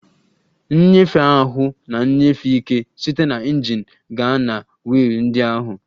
Nnyefe ahụ na-enyefe ike site na injin gaa na wiil ndị ahụ